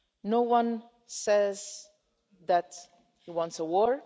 No one says that he wants a war.